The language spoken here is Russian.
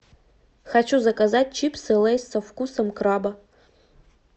хочу заказать чипсы лейс со вкусом краба